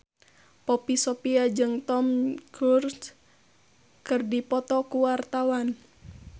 Poppy Sovia jeung Tom Cruise keur dipoto ku wartawan